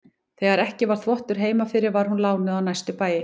Þegar ekki var þvottur heima fyrir var hún lánuð á næstu bæi.